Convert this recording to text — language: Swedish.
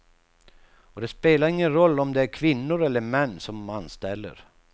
Och det spelar ingen roll om det är kvinnor eller män som anställer.